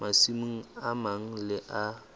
masimong a mang le a